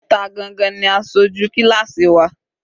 Ta gangan ni aṣojú kíláásì wa?